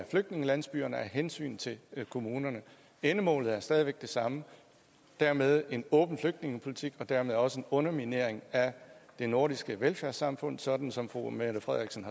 flygtningelandsbyerne af hensyn til kommunerne endemålet er stadig væk det samme og dermed er det en åben flygtningepolitik og dermed også en underminering af det nordiske velfærdssamfund sådan som fru mette frederiksen